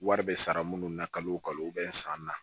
Wari bɛ sara minnu na kalo o kalo san na